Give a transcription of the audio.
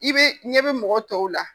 I bɛ ɲɛ bɛ mɔgɔ tɔw la